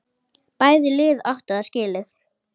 Bæði lið áttu það skilið.